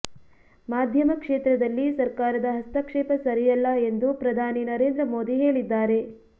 ಮಾಧ್ಯಮ ಕ್ಷೇತ್ರದಲ್ಲಿ ಸರ್ಕಾರದ ಹಸ್ತಕ್ಷೇಪ ಸರಿಯಲ್ಲ ಎಂದು ಪ್ರಧಾನಿ ನರೇಂದ್ರ ಮೋದಿ ಹೇಳಿದ್ದಾರೆ